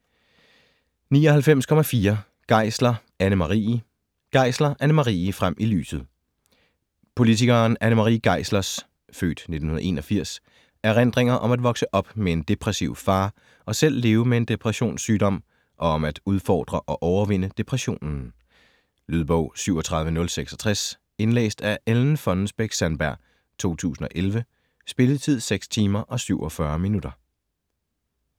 99.4 Geisler, Anne Marie Geisler, Anne Marie: Frem i lyset Politikeren Anne Marie Geislers (f. 1981) erindringer om at vokse op med en depressiv far og selv leve med en depressionssygdom og om at udfordre og overvinde depressionen. Lydbog 37066 Indlæst af Ellen Fonnesbech-Sandberg, 2011. Spilletid: 6 timer, 47 minutter.